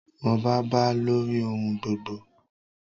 Ọba ba lórí ohun gbogbo.